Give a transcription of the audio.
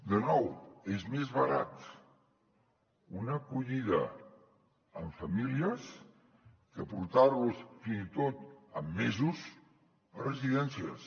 de nou és més barat una acollida amb famílies que portar los fins i tot en mesos a residències